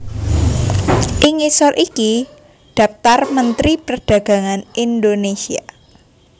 Ing ngisor iki dhaptar Mentri Perdagangan Indonésia